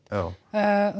já